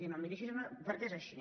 i no em miri així perquè és així